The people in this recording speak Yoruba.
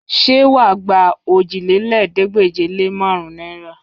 Ṣé wà á gba òjìlélẹ́ẹ̀ẹ́dégbèje-lé-márùn-ún náìrà?